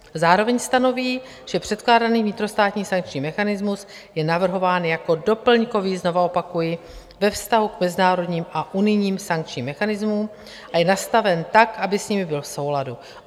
Zároveň stanoví, že předkládaný vnitrostátní sankční mechanismus je navrhován jako doplňkový, znovu opakuji, ve vztahu k mezinárodním a unijním sankčním mechanismům a je nastaven tak, aby s nimi byl v souladu.